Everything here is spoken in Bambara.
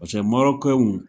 Pase w